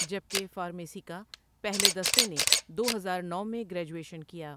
جبکہ فارمیسی کا پہلے دستے نے دو ہزار نو میں گریجویشن کیا ۔